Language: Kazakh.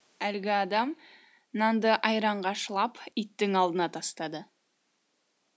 әлгі адам нанды айранға шылап иттің алдына тастады